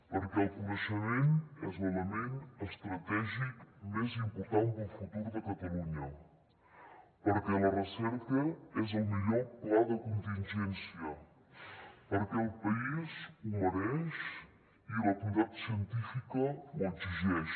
perquè el coneixement és l’element estratègic més important per al futur de catalunya perquè la recerca és el millor pla de contingència perquè el país ho mereix i la comunitat científica ho exigeix